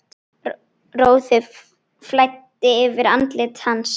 Roði flæddi yfir andlit hans.